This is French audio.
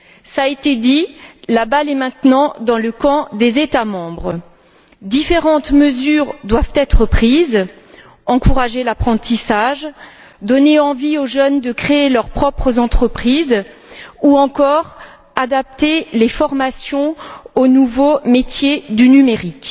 Cela a été dit, la balle est maintenant dans le camp des États membres. Différentes mesures doivent être prises encourager l'apprentissage, donner envie aux jeunes de créer leurs propres entreprises ou encore adapter les formations aux nouveaux métiers du numérique.